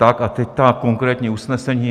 Tak a teď ta konkrétní usnesení.